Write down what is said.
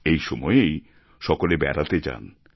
এই সময়েই সকলে বেড়াতে যান